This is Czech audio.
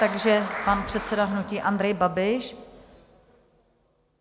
Takže pan předseda hnutí Andrej Babiš.